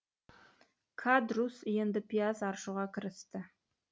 кадрусс енді пияз аршуға кірісті